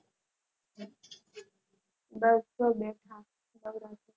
બસ જો બેઠા